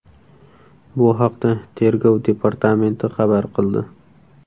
Bu haqda Tergov departamenti xabar qildi .